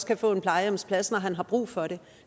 kan få en plejehjemsplads når han har brug for det